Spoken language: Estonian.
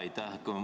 Aitäh!